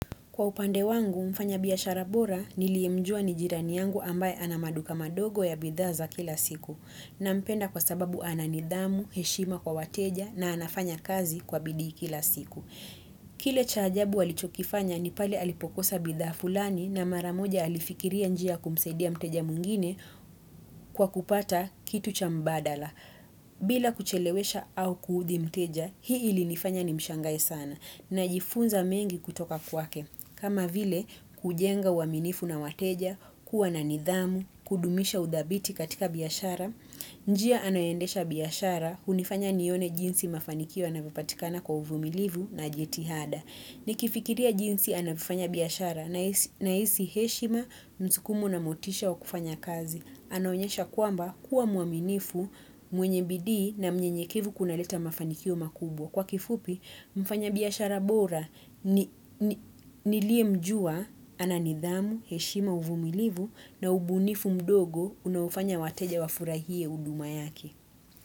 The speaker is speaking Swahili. Kwa upande wangu, mfanyabiashara bora niliemjua nijirani yangu ambaye anamaduka madogo ya bidhaa kila siku. Na mpenda kwa sababu ananidhamu, heshima kwa wateja na anafanya kazi kwa bidii kila siku. Kile cha ajabu alichokifanya ni pale alipokosa bidhaa fulani na maramoja alifikiria njia kumsaidia mteja mwingine kwa kupata kitu cha mbadala. Bila kuchelewesha au kuudhi mteja, hii ili nifanya ni mshangae sana na jifunza mengi kutoka kwake. Kama vile kujenga uwaminifu na wateja, kuwa na nidhamu, kudumisha udhabiti katika biyashara, njia anayendesha biyashara, unifanya nione jinsi mafanikio anavopatikana kwa uvumilivu na jitihada. Nikifikiria jinsi anavofanya biyashara na isi heshima msukumo na motisha wa kufanya kazi. Anaonyesha kuamba kuwa muaminifu mwenye bidii na mnyenye kevu kuna leta mafanikio makubwa. Kwa kifupi mfanya biashara bora nilie mjua ananidhamu, heshima uvumilivu na ubunifu mdogo unaufanya wateja wafurahie huduma yake.